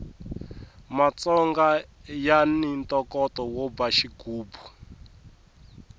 matsonga yani ntokoto wo ba xigubu